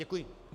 Děkuji.